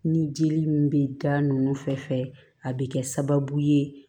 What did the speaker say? Ni jeli min bɛ da nunnu fɛ a bɛ kɛ sababu ye